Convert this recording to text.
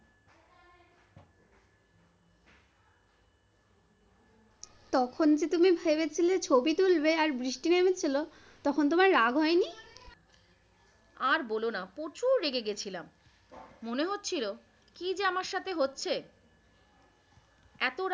তখন যে তুমি ভেবেছিলে ছবি তুলবে, আর বৃষ্টি নেমেছিল তখন তোমার রাগ হয়নি? আর বলো না প্রচুর রেগে গিয়েছিলাম মনে হচ্ছিল কি যে আমার সাথে হচ্ছে।